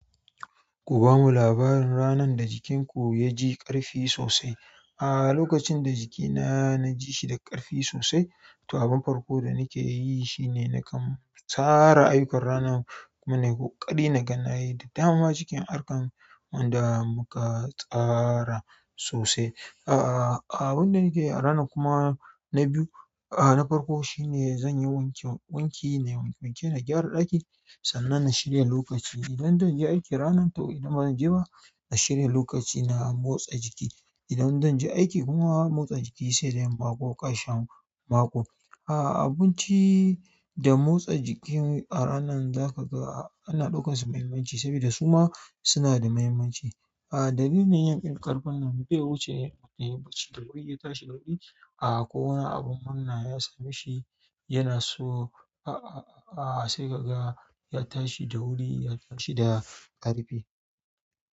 Ku bamu labarin ranarda jikin ku yaji ƙarfi sosai. A'a, lokacin da jikina najishi da ƙarfi sosai, to abin farko da nakeyi shine nakan tsara ayyukan ranar kuma nayi ƙokari naga nayi da dama cikin ayukan da muka tsara sosai. Aaa aa, abinda nake yi a rana kuma na biyu, a'a, na farko shine zanyi wanke wanki na gyara ɗaki sannan na shirya lokaci. Idan zanje aiki ranar, to idan bazan je ba, na shirya lokaci na motsa jiki. Idan zanje aiki kuma, motsa jiki sai da yamma ko ƙashi mako. A'a, abinci da motsa jiki a ranar zakaga ana ɗaukansu muhimmanci saboda suma sunada muhimmanci. A'a, dalilin yin ƙarfin nan bai wuce yin abinci da wuri ya tashi ƙarfi. Aa, ko wani abun murna ya sameshi yana so, aa, aa, a'a, sai kaga ya tashi da wuri, ya tashi da ƙarfi.